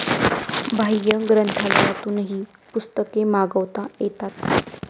बाह्य ग्रंथालयातूनही पुस्तके मागवता येतात